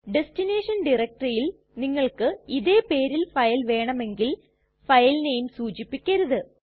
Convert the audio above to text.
destination ടയരക്റ്റെറിയിൽ നിങ്ങൾക്ക് ഇതേ പേരിൽ ഫയൽ വേണമെങ്കിൽ ഫയൽ നെയിം സൂചിപ്പിക്കരുത്